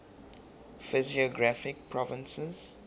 physiographic provinces